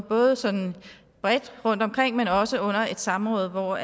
både sådan bredt rundtomkring men også under et samråd hvor